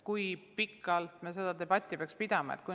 Kui pikalt me seda debatti peaksime pidama?